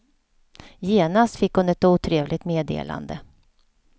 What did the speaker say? Genast fick hon ett otrevligt meddelande.